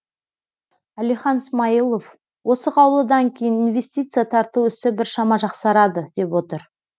әлихан смайылов осы қаулыдан кейін инвестиция тарту ісі біршама жақсарады деп отыр